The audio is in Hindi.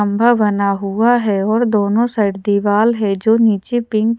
खंभा बना हुआ है और दोनों साइड दिवाल है जो नीचे पिंक --